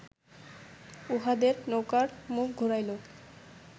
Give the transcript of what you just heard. উহাদের নৌকার মুখ ঘুরাইল